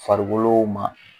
Farikolo ma